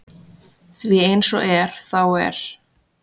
Því eins og er þá er